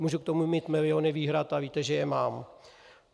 Můžu k tomu mít miliony výhrad a víte, že je mám.